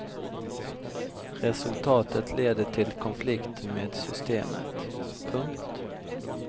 Resultatet leder till konflikt med systemet. punkt